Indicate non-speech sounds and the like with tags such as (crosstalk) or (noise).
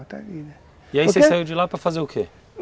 (unintelligible) E aí você saiu de lá para fazer o quê?